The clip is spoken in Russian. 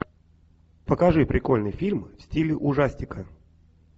покажи прикольный фильм в стиле ужастика